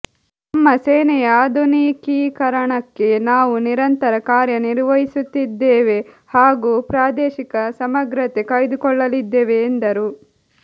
ನಮ್ಮ ಸೇನೆಯ ಆಧುನಿಕೀಕರಣಕ್ಕೆ ನಾವು ನಿರಂತರ ಕಾರ್ಯ ನಿರ್ವಹಿಸುತ್ತಿದ್ದೇವೆ ಹಾಗೂ ಪ್ರಾದೇಶಿಕ ಸಮಗ್ರತೆ ಕಾಯ್ದುಕೊಳ್ಳಲಿದ್ದೇವೆ ಎಂದರು